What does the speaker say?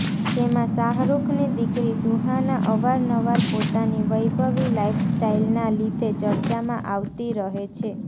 જેમાં શાહરુખની દીકરી સુહાના અવારનવાર પોતાની વૈભવી લાઇફસ્ટાઇલનાં લીધે ચર્ચામાં આવતી રહે છે